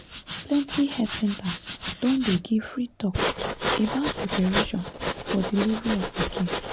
plenty health centers don dey give free talk about preparation for delivery of pikin